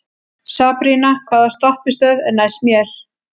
Sabrína, hvaða stoppistöð er næst mér?